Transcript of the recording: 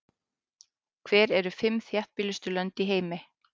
Hver eru fimm þéttbýlustu lönd í heimi?